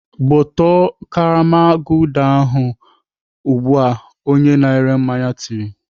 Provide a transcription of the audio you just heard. Gbọtọọ karama Gulder ahụ ugbu a!" Onye na-ere mmanya tiri